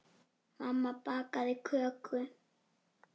Mamma bakaði köku.